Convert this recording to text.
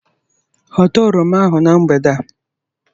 Hota oroma ahụ na mgbede a.